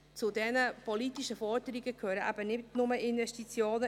Zu diesen politischen Forderungen gehören nicht nur Investitionen.